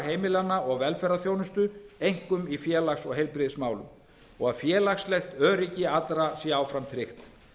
heimilanna og velferðarþjónustu einkum í félags og heilbrigðismálum og að félagslegt öryggi allra sé áfram tryggt